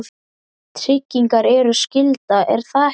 tryggingar eru skylda, er það ekki?